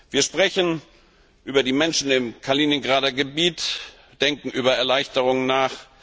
Wir sprechen über die Menschen im Kaliningrader Gebiet, denken über Erleichterungen nach.